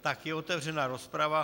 Tak je otevřena rozprava.